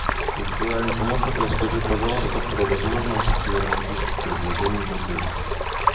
виртуальный помощник расскажи пожалуйста про возможности романтических предложений в отеле